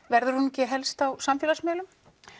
verður hún ekki helst á samfélagsmiðlum